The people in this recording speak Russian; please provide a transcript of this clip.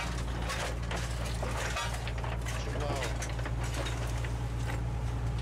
чилаут